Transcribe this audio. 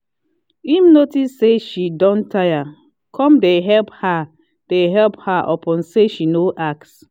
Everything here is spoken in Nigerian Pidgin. him notice say she don tire come dey help her dey help her upon say she no ask